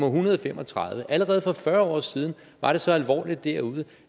hundrede og fem og tredive allerede for fyrre år siden var det så alvorligt derude